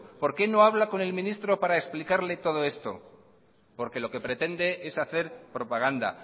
por qué no habla con el ministro para explicarle todo esto porque lo que pretende es hacer propaganda